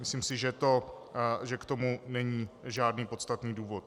Myslím si, že k tomu není žádný podstatný důvod.